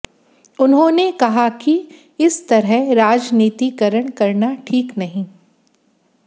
उन्होंने कहा कि इस तरह राजनीतिकरण करना ठीक नहीं